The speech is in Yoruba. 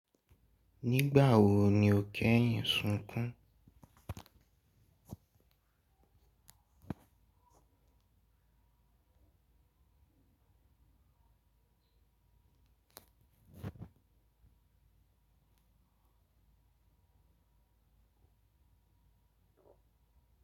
Nígbà wo ni o kẹ́yìn sunkún?